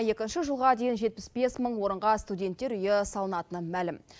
екінші жылға дейін жетпіс бес мың орынға студенттер үйі салынатыны мәлім